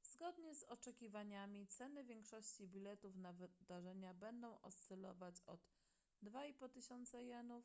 zgodnie z oczekiwaniami ceny większości biletów na wydarzenia będą oscylować od 2500 jenów